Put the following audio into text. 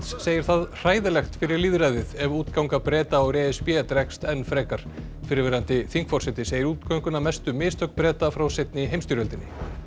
segir það hræðilegt fyrir lýðræðið ef útganga Breta úr e s b dregst enn frekar fyrrverandi þingforseti segir útgönguna mestu mistök Breta frá seinni heimstyrjöldinni